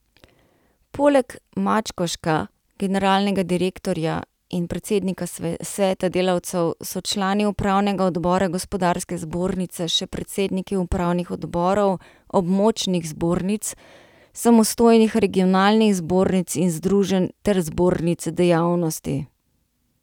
Poleg Mačkoška, generalnega direktorja in predsednika sveta delavcev so člani upravnega odbora gospodarske zbornice še predsedniki upravnih odborov območnih zbornic, samostojnih regionalnih zbornic in združenj ter zbornic dejavnosti.